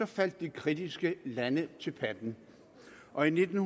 faldt de kritiske lande til patten og nitten